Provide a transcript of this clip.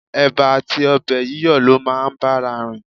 Ẹ̀ba àti ọbẹ̀ yíyọ̀ ló máa ń bára rìn.